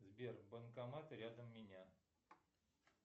сбер банкоматы рядом меня